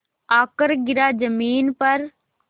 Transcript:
आकर गिरा ज़मीन पर